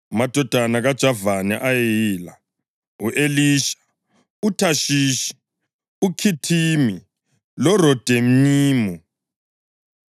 Amadodana kaJavani ayeyila: u-Elisha, uThashishi, uKhithimi loRodanimu.